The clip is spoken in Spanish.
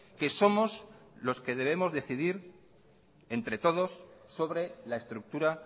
que somos los que debemos decidir entre todos sobre la estructura